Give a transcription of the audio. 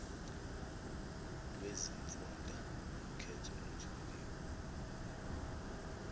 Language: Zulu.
lwezimfunda kukhetho lutholiwe